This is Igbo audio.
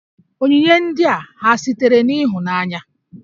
Onyinye ndị a ha sitere n'ịhụnanya?